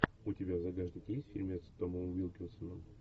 у тебя в загашнике есть фильмец с томом уилкинсоном